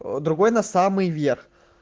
другой на самый верх